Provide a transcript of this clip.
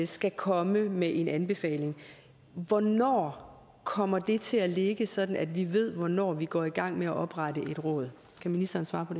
skal komme med en anbefaling hvornår kommer den til at ligge sådan at vi ved hvornår vi kan gå i gang med at oprette et råd kan ministeren svare på